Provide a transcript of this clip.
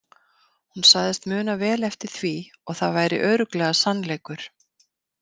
Hún sagðist muna vel eftir því og það væri örugglega sannleikur.